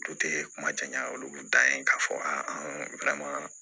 kuma caman olu kun da yen k'a fɔ a